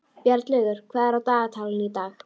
Bjarnlaugur, hvað er á dagatalinu í dag?